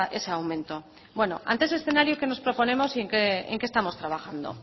ese aumento bueno ante ese escenario qué nos proponemos y en qué estamos trabajando